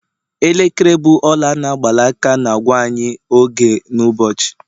elekere bụ ọla a n'agba na- aka na-agwa anyị oge n'ụbọchị